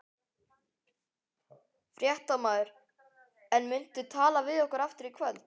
Fréttamaður: En muntu tala við okkur aftur í kvöld?